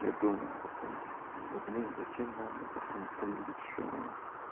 я думаю потом да блин зачем надо потом кто-нибудь ещё